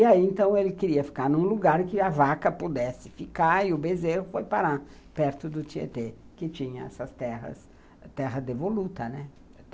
E aí, então, ele queria ficar num lugar que a vaca pudesse ficar e o bezerro foi parar perto do Tietê, que tinha essas terras, terra devoluta, né?